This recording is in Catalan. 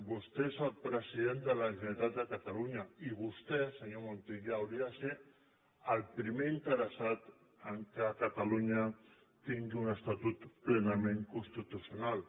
vostè és el president de la generalitat de catalunya i vostè senyor montilla hauria de ser el primer interessat que catalunya tingui un estatut plenament constitucional